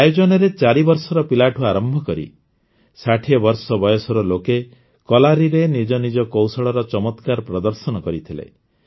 ଏହି ଆୟୋଜନରେ ୪ ବର୍ଷର ପିଲାଠୁ ଆରମ୍ଭ କରି ୬୦ ବର୍ଷ ବୟସର ଲୋକେ କଲାରିରେ ନିଜନିଜ କୌଶଳର ଚମତ୍କାର ପ୍ରଦର୍ଶନ କରିଥିଲେ